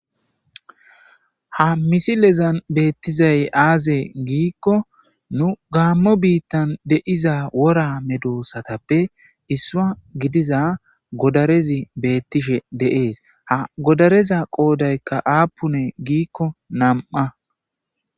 ha misilezan beettizay aaze giikko nu gaammo biittan deiza wora medoossatappe issua gidiza godarezi beettishe deees ha godareza qoodaykka aapune giikko nam7a